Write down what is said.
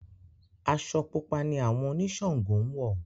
Aṣọ Pupa ni àwọn oniṣàngó ń wọ̀.